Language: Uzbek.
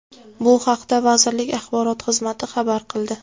Bu haqda vazirlik axborot xizmati xabar qildi .